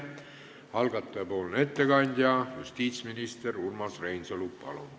Algataja ettekandja justiitsminister Urmas Reinsalu, palun!